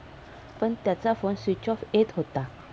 पण त्याचा phone switch off येत होता.